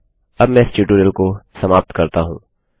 अब मैं इस ट्यूटोरिटल को समाप्त करती हूँ